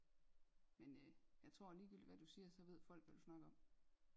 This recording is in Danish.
Men øh jeg tror ligegyldigt hvad du siger så ved folk hvad du snakker om